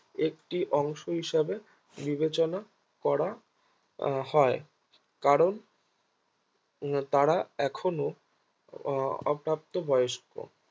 একটি অংশ হিসাবে বিবেচনা করা আহ হয় কারণ তারা এখনো আহ অব্দাথ বয়স্ক